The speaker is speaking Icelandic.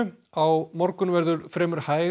á morgun verður fremur hæg